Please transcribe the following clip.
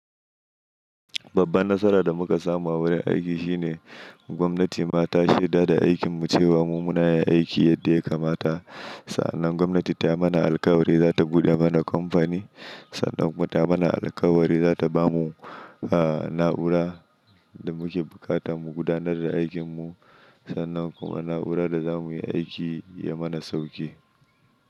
Babban nasara da muka samu a wurin aiki shine gwamnati ma ta shaida da aikin mu cewa mu muna yin aiki yadda ya kamata. Sannan gwamnati ta mana alkawari za ta buɗe mana kamfani, sannan kuma ta mana alkawari za ta ba mu, ah, na'ura da muke bukata mu gudanar da aikin mu. Sannan kuma na'urar da za mu yi aiki ya mana sauki.